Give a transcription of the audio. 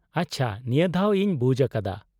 -ᱟᱪᱪᱷᱟ, ᱱᱤᱭᱟᱹᱫᱷᱟᱣ ᱤᱧ ᱵᱩᱡ ᱟᱠᱟᱫᱟ ᱾